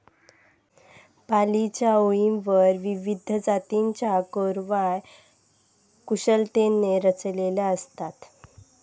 पालवीच्या ओळींवर विविध जातीच्या कोरवाय कुशलतेने रचलेल्या असतात.